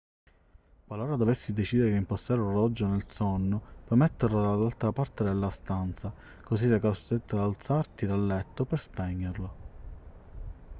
qualora dovessi decidere di reimpostare l'orologio nel sonno puoi metterlo dall'altra parte della stanza così sarai costretto ad alzarti dal letto per spegnerlo